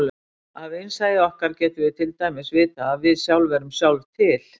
Af innsæi okkar getum við til dæmis vitað að við sjálf erum sjálf til.